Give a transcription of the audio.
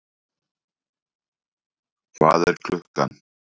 Hvað er klukkan?